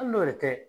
Hali n'o yɛrɛ